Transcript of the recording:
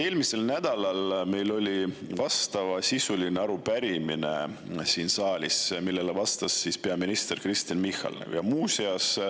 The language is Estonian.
Eelmisel nädalal oli meil siin saalis vastavasisuline arupärimine, millele vastas peaminister Kristen Michal.